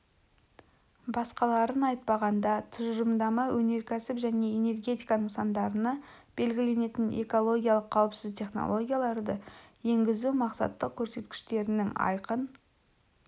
басқаларын айтпағанда тұжырымдама өнеркәсіп және энергетика нысандарына белгіленетін экологиялық қауіпсіз технологияларды енгізу тұрақты мақсаттық көрсеткіштерінің айқын